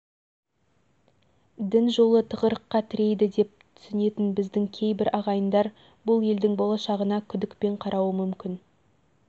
әрине дінді тек догмалық тұрғыдан пайымдап етегіңе намаз оқумен ғана шектелсең алысқа бара алмайтының белгілі